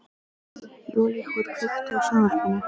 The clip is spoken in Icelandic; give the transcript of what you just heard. Júlíhuld, kveiktu á sjónvarpinu.